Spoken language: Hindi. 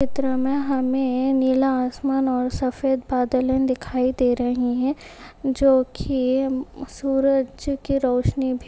चित्र में हमें नीला आसमान और सफेद बादले दिखाई दे रहे हैं जो कि सूरज की रोशनी भी --